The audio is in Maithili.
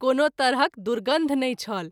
कोनो तरहक दुर्गन्ध नहिं छल।